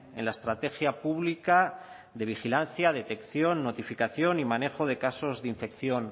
en la estrategia pública de vigilancia detección notificación y manejo de casos de infección